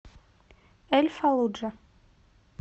эль фаллуджа